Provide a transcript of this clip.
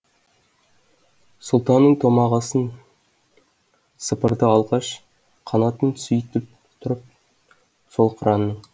сұлтаның томағасын сыпырды алғаш қанатын сүйіп тұрып сол қыранның